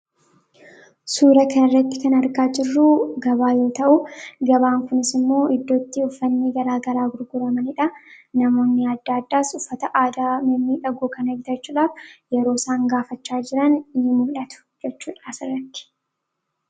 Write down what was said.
Suuraa kanarratti kan argaa jirru gabaa yoo ta’u gabaan kunisimmoo iddootti uffatni gara garaa gurguramanidha. Namoonni adda addaas uffata aadaa mimmiidhagoo kana bitachuudhaaf yeroo osaan gaafachaa jiran ni mul'atu jechuudha asirratti.